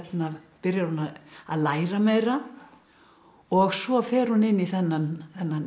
byrjar hún að læra meira og svo fer hún inn í þennan